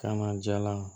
Ka na jalan